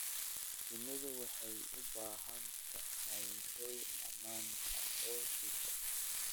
Shinnidu waxay u baahan tahay hoy ammaan ah oo joogto ah.